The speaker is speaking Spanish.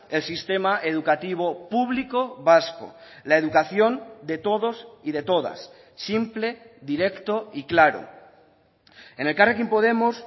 el sistema educativo público vasco la educación de todos y de todas simple directo y claro en elkarrekin podemos